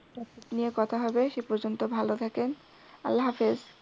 কিছু নিয়ে কথা হবে সেই পর্যন্ত ভালো থাকেন। আল্লাহ হাফেজ।